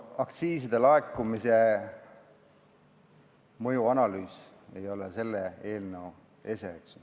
Aktsiiside laekumise mõjuanalüüs ei ole selle eelnõu ese.